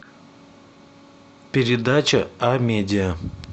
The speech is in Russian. передача амедиа